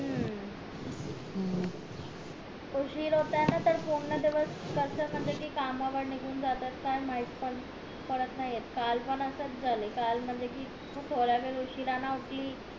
उशीर होत ना त पूर्ण दिवस कस म्हणजे कि कामा वर निगुन जात काय माहित पडत पण नाय येत काल पण असच झालं काल म्हणजे कि थोडा वेळ उशिरा ने उठली